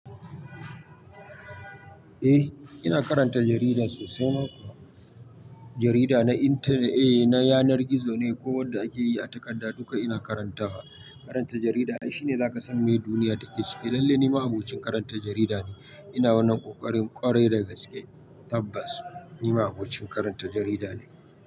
Eh ina karanta jarida sosai ma kuwa. Jarida na intanet, na yanar gizo ne. Ko wanda ake yi a takarda duka ina karantawa. Karanta jarida ai shi ne zaka san me duniya take ciki. Lalle ni ma'abocin karanta jarida ne. Ina wannan ƙoƙarin ƙwarai da gaske. Tabbas ni ma abokin karanta jarida ne.